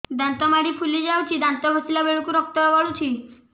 ଦାନ୍ତ ମାଢ଼ୀ ଫୁଲି ଯାଉଛି ଦାନ୍ତ ଘଷିଲା ବେଳକୁ ରକ୍ତ ଗଳୁଛି